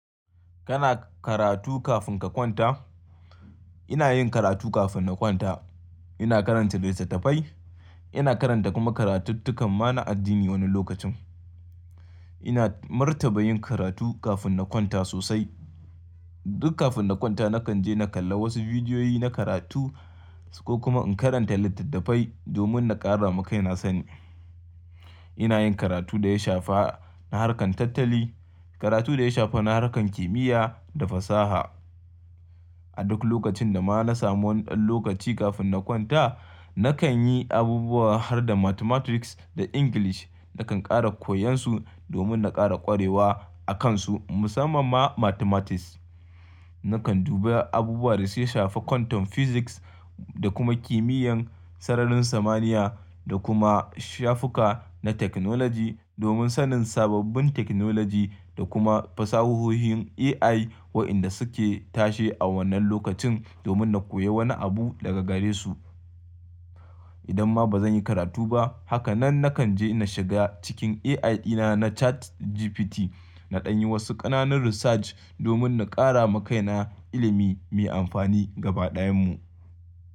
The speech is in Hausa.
Kana karatu kafin ka kwanta? Ina yin karatu kafin na kwanta. Ina karanta littattafai, ina karanta kuma karatuttukan mana addini wani lokacin. Ina martaba yin karatu kafin na kwanta sosai. Duk kafin na kwanta nakan je na kalla wasu bidiyoyi na karatu ko kuma in karanta littattafai domin na ƙara makai na sani. Ina yin karatu da ya shafa na harkar tattali, karatu da ya shafa na harkar kimiyya da fasaha. A duk lokacin da ma na samu wani ɗan lokaci kafin na kwanta, nakan yi abubuwa har da mathematics da English. Nakan ƙara koyan su domin na ƙara ƙwarewa a kan su, musamman ma mathematics. Nakan duba abubuwa da su shafi quantum physics da kuma kimiyyar sararin samaniya da kuma shafuka na technology domin sanin sababbin technology da kuma fasahohin AI waɗanda suke tashe a wannan lokacin domin na koyi wani abu daga gare su. Idan ma ba zan yi karatu ba, haka nan nakan je na shiga cikin AI dina na ChatGPT na ɗan yi wasu ƙananan research domin na ƙara makai na ilimi mai amfani gaba ɗayan mu.